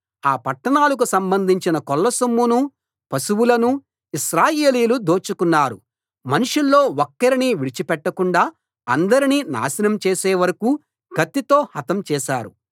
ఆ పట్టణాలకు సంబంధించిన కొల్లసొమ్మునూ పశువులనూ ఇశ్రాయేలీయులు దోచుకున్నారు మనుషుల్లో ఒక్కర్నీ విడిచిపెట్టకుండా అందర్నీ నాశనం చేసే వరకూ కత్తితో హతం చేశారు